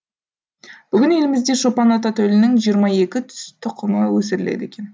бүгін елімізде шопан ата төлінің жиырма екі тұқымы өсіріледі екен